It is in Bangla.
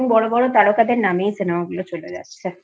এবং বড়ো বড়ো তারকাদের নামেই Cinemaগুলো চলে যাচ্ছে